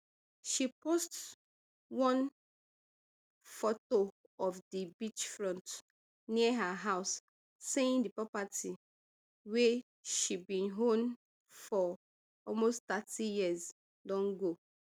she post one fotoof di beachfront near her house saying di property we she bin own for almost thirty years don go